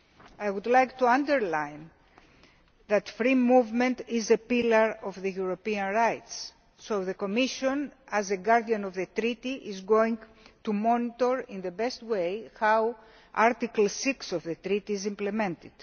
I would like to underline that free movement is a pillar of European rights and the Commission, as a guardian of the Treaty, is going to monitor in the best way how Article 6 of the Treaty is implemented.